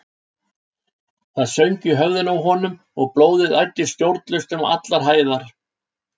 Það söng í höfðinu á honum og blóðið æddi stjórnlaust um allar æðar.